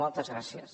moltes gràcies